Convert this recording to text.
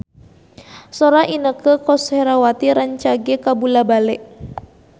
Sora Inneke Koesherawati rancage kabula-bale